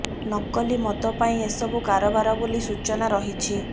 ନକଲି ମଦ ପାଇଁ ଏସବୁ କାରବାର ବୋଲି ସୂଚନା ରହିଛି